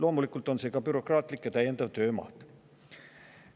Loomulikult on ka see bürokraatlik ja täiendav töömaht.